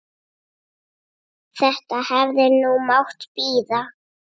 Þetta hefði nú mátt bíða.